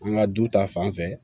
An ka du ta fanfɛ